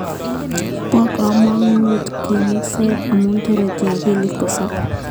Po kamanut kamungset amu tareti akilit kosop.